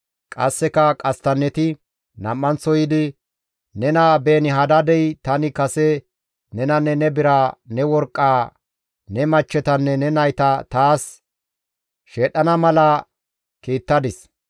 Qasseka qasttanneti nam7anththo yiidi, «Nena Beeni-Hadaadey, ‹Tani kase nenanne ne biraa, ne worqqaa, ne machchetanne ne nayta taas sheedhdhana mala kiittadis.